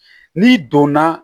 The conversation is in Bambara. N'i donna